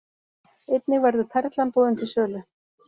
Einnig verður Perlan boðin til sölu